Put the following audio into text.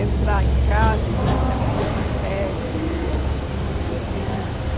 entrar em casa e ver se havia papéis subversivos, livros.